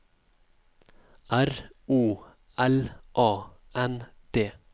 R O L A N D